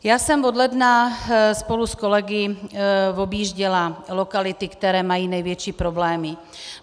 Já jsem od ledna spolu s kolegy objížděla lokality, které mají největší problémy.